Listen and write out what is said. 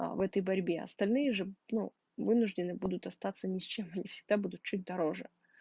а в этой борьбе остальные же ну вынуждены будут остаться ни с чем не всегда буду чуть дороже